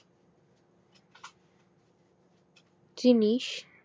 জিনিস